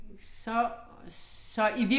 Så, så